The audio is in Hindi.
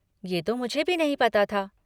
ये तो मुझे भी नहीं पता था।